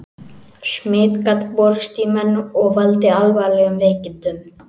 Smit gat borist í menn og valdið alvarlegum veikindum.